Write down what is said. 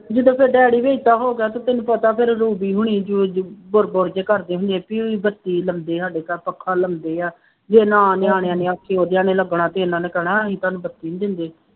ਜਦੋਂ ਫੇਰ ਡੈਡੀ ਵੀ ਏਦਾਂ ਹੋ ਗਿਆ ਅਤੇ ਤੈਨੂੰ ਪਤਾ ਫੇਰ ਰੂਬੀ ਹੁਣੀ ਵੀ ਉਹ ਜਿਹੇ ਬੁੜਬੁੜ ਜਿਹਾ ਕਰਦੇ ਹੁੰਦੇ, ਬੱਤੀ ਲੱਗੇ ਸਾਡੇ ਘਰ ਪੱਖਾਂ ਲੱਗੇ, ਜੇ ਨਾ ਨਿਆਣਿਆਂ ਨੇ ਆਖੇ ਲੱਗਣਾ ਤੇ ਇਹਨਾ ਨੇ ਕਹਿਣਾ ਅਸੀਂ ਤੁਹਾਨੂੰ ਬੱਤੀ ਨਹੀਂ ਦਿੰਦੇ